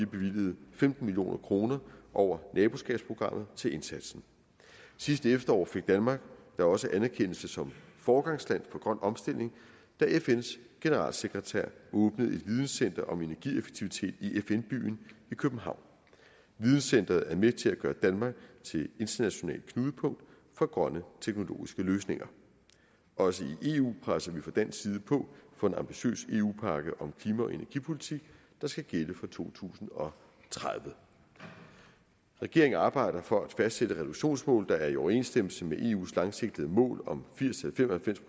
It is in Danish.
bevilget femten million kroner over naboskabsprogrammet til indsatsen sidste efterår fik danmark da også anerkendelse som foregangsland for grøn omstilling da fns generalsekretær åbnede et videncenter om energieffektivitet i fn byen i københavn videncenteret er med til at gøre danmark til internationalt knudepunkt for grønne teknologiske løsninger også i eu presser vi fra dansk side på for en ambitiøs eu pakke om klima og energipolitik der skal gælde for to tusind og tredive regeringen arbejder for at fastsætte reduktionsmål der er i overensstemmelse med eus langsigtede mål om firs til fem og